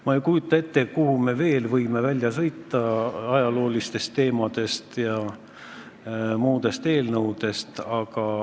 Ma ei kujuta ette, kuhumaani me võime välja sõita nende ajalooliste teemade ja muude eelnõudega.